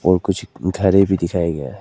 और कुछ घरे भी दिखाया गया है।